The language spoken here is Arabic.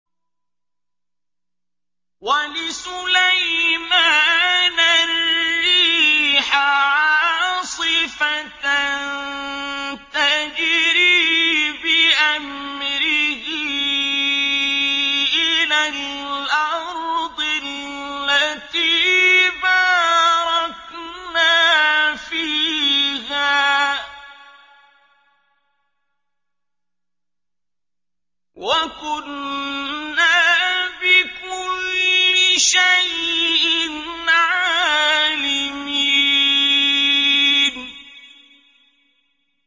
وَلِسُلَيْمَانَ الرِّيحَ عَاصِفَةً تَجْرِي بِأَمْرِهِ إِلَى الْأَرْضِ الَّتِي بَارَكْنَا فِيهَا ۚ وَكُنَّا بِكُلِّ شَيْءٍ عَالِمِينَ